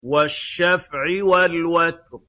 وَالشَّفْعِ وَالْوَتْرِ